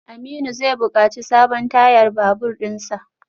Aminu zai bukaci sabon tayar babur dinsa.